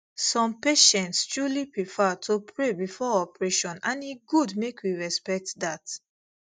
some patients truly prefer to pray before operation and e good make we respect that